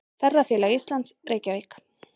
Ferðafélag Íslands, Reykjavík.